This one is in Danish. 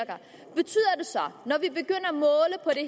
nå de